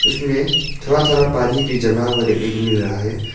इसमें थोड़ा थोड़ा पानी भी जमा हुआ देखने को मिल रहा है।